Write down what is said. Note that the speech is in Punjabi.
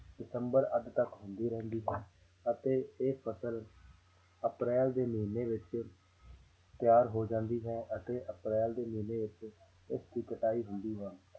ਦਸੰਬਰ ਅੱਧ ਤੱਕ ਹੁੰਦੀ ਰਹਿੰਦੀ ਹੈ ਅਤੇ ਇਹ ਫ਼ਸਲ ਅਪ੍ਰੈਲ ਦੇ ਮਹੀਨੇ ਵਿੱਚ ਤਿਆਰ ਹੋ ਜਾਂਦੀ ਹੈ ਅਤੇ ਅਪ੍ਰੈਲ ਦੇ ਮਹੀਨੇ ਵਿੱਚ ਇਸਦੀ ਕਟਾਈ ਹੁੰਦੀ ਹੈ